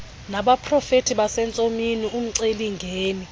nabaprofeti basentsomini umcelimngeni